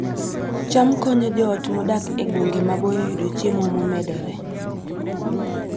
cham konyo joot modak e gwenge maboyo yudo chiemo momedore